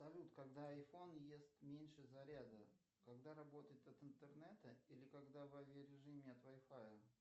салют когда айфон ест меньше заряда когда работает от интернета или когда в авиа режиме от вайфая